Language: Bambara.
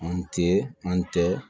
An tɛ an tɛ